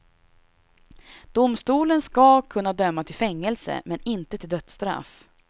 Domstolen ska kunna döma till fängelse, men inte till dödsstraff.